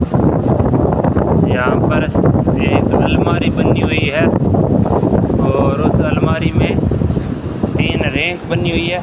यहां पर एक अलमारी बनी हुई है और उस अलमारी में तीन रैक बनी हुई है।